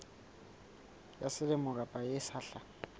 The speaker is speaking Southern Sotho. ya selemo kapa ya sehla